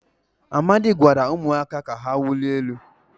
amadi gwara umuaka ka ha wulie elu